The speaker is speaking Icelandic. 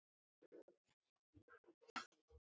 Svona var Amma í Ljós.